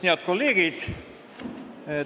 Head kolleegid!